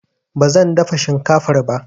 Ba zan dafa shinkafar ba.